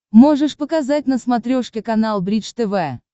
можешь показать на смотрешке канал бридж тв